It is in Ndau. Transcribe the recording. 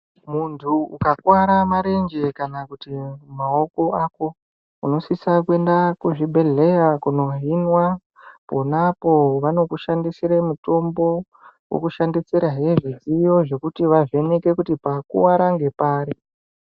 Muntu ukakuwara marenje kana kuti maoko ako ako unosisa kuenda kuzvibhedhleya kunohinwa . Ponapo vanokushandisire mutombo, vokushandisirahe zvidziyo zvekuti vavheneke kuti pakuwara ngepari.